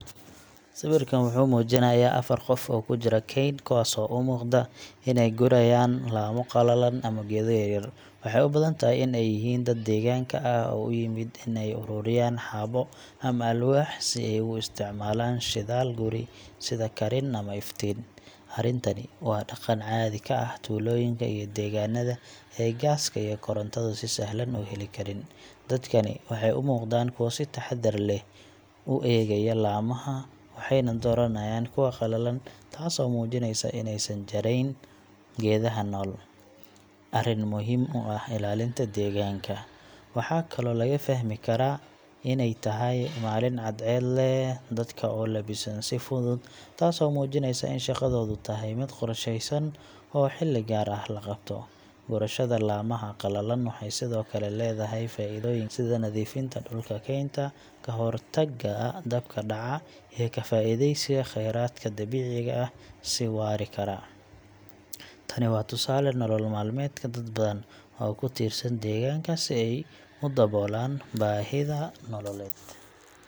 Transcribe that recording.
Sawirkan waxa uu muujinayaa afar qof oo ku jira kayn, kuwaasoo u muuqda inay gurayaan laamo qalalan ama geedo yaryar. Waxay u badan tahay in ay yihiin dad deegaanka ah oo u yimid in ay uruuriyaan xaabo ama alwaax si ay ugu isticmaalaan shidaal guri sida karin ama iftiin. Arrintani waa dhaqan caadi ka ah tuulooyinka iyo deegaanada ay gaaska iyo korontadu si sahlan u heli karin. Dadkani waxay u muuqdaan kuwo si taxaddar leh u eegaya laamaha, waxayna dooranayaan kuwa qalalan, taasoo muujinaysa in aysan jarayn geedaha nool arrin muhiim u ah ilaalinta deegaanka. Waxaa kaloo laga fahmi karaa inay tahay maalin cadceed leh, dadka oo labisan si fudud, taasoo muujinaysa in shaqadoodu tahay mid qorsheysan oo xilli gaar ah la qabto. Gurashada laamaha qalalan waxay sidoo kale leedahay faa’iidooyin kale, sida nadiifinta dhulka kaynta, ka hortagga dabka dhaca, iyo ka faa’iidaysiga kheyraadka dabiiciga ah si waari kara. Tani waa tusaale nolol maalmeedka dad badan oo ku tiirsan deegaanka si ay u daboolaan baahiyaha nololeed.